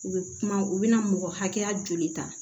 U bɛ kuma u bɛna mɔgɔ hakɛya joli ta